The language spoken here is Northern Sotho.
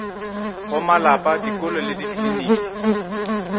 go malapa dikolo le dikliniki